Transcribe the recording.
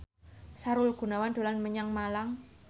Sahrul Gunawan dolan menyang Malang